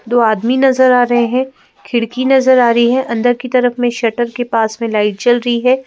दो आदमी नज़र आ रहे हैं खिड़की नज़र आ रही है अंदर की तरफ में शटर के पास में लाइट जल रही है।